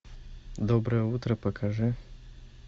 доброе утро покажи